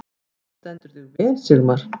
Þú stendur þig vel, Sigmar!